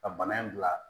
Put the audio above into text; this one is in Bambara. Ka bana in bila